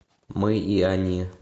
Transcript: мы и они